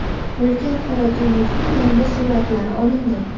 Ulkan qora tuynukning yangi suratlari olindi.